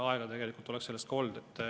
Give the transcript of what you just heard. Aega selleks oleks olnud.